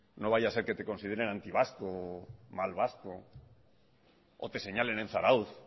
no vaya a ser que te consideren antivasco o mal vasco o te señalen en zarautz